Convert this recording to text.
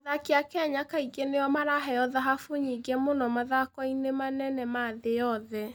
Athaki a Kenya kaingĩ nĩo maraheo thahabu nyingĩ mũno mathako-inĩ manene ma thĩ yothe.